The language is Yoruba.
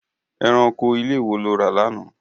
Ẹranko ilé wo lo rà lánàá?